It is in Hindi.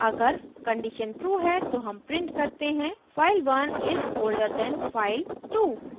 अगर condition true है तो हम print करते हैं file1 is older than file2